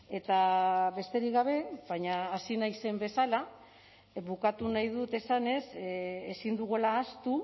eta besterik gabe baina hasi naizen bezala bukatu nahi dut esanez ezin dugula ahaztu